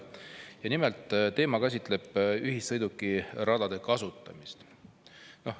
Ja nimelt, teema käsitleb ühissõidukiradade kasutamist.